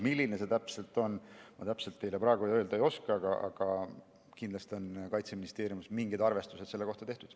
Milline see täpselt on, ma teile praegu öelda ei oska, aga kindlasti on Kaitseministeeriumis mingid arvestused selle kohta tehtud.